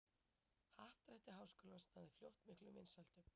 Happdrætti Háskólans náði fljótt miklum vinsældum.